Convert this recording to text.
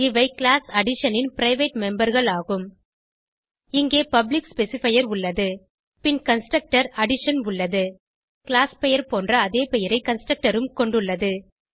இவை class definition ன் private memberகள் ஆகும் இங்கே பப்ளிக் ஸ்பெசிஃபையர் உள்ளது பின் கன்ஸ்ட்ரூட்டர் அடிஷன் உள்ளது கிளாஸ் பெயர் போன்ற அதே பெயரை கன்ஸ்ட்ரக்டர் உம் கொண்டுள்ளது